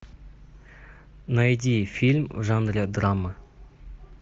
найди фильм в жанре драма